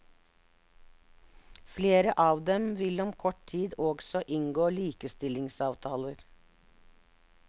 Flere av dem vil om kort tid også inngå likestillingsavtaler.